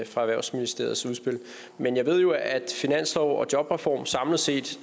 fra erhvervsministeriets udspil men jeg ved jo at finanslov og jobreform samlet set